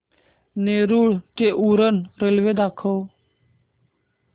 नेरूळ ते उरण रेल्वे दाखव